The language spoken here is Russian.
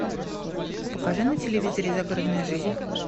покажи на телевизоре загородная жизнь